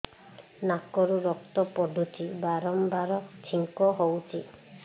ନାକରୁ ରକ୍ତ ପଡୁଛି ବାରମ୍ବାର ଛିଙ୍କ ହଉଚି